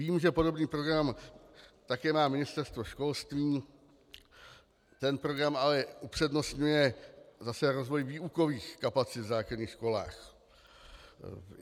Vím, že podobný program také má Ministerstvo školství, ten program ale upřednostňuje zase rozvoj výukových kapacit v základních školách.